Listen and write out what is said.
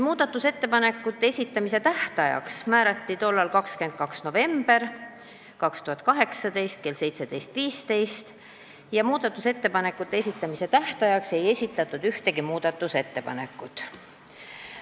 Muudatusettepanekute esitamise tähtajaks määrati tollal 22. november 2018 kell 17.15, selleks ajaks ei esitatud aga ühtegi muudatusettepanekut.